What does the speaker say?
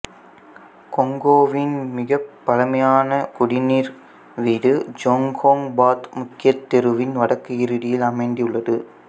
கொங்கோவின் மிகப் பழமையான குடிநீர் வீடு ஜோங்கோங் பாத் முக்கிய தெருவின் வடக்கு இறுதியில் அமைந்துள்ளது